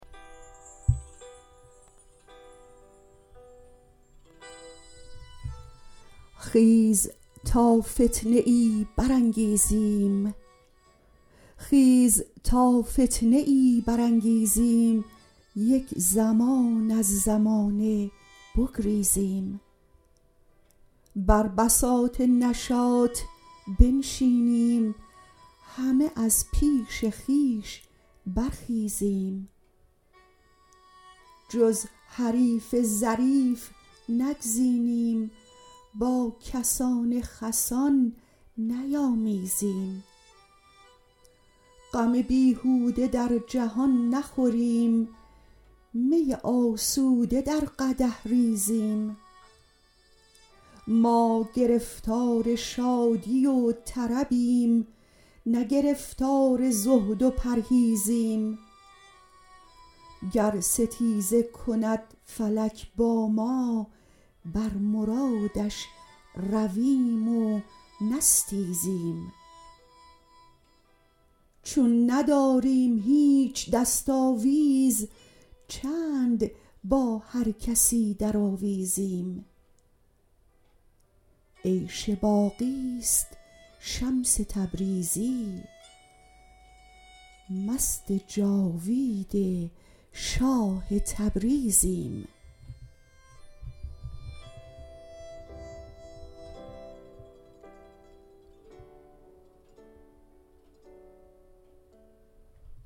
خیز تا فتنه ای برانگیزیم یک زمان از زمانه بگریزیم بر بساط نشاط بنشینیم همه از پیش خویش برخیزیم جز حریف ظریف نگزینیم با کسان خسان نیامیزیم غم بیهوده در جهان نخوریم می آسوده در قدح ریزیم ما گرفتار شادی و طربیم نه گرفتار زهد و پرهیزیم گر ستیزه کند فلک با ما بر مرادش رویم و نستیزیم چون نداریم هیچ دست آویز چند با هر کسی درآویزیم عیش باقی است شمس تبریزی مست جاوید شاه تبریزیم